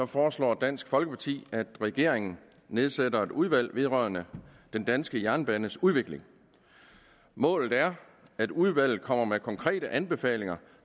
foreslår dansk folkeparti at regeringen nedsætter et udvalg vedrørende den danske jernbanes udvikling målet er at udvalget kommer med konkrete anbefalinger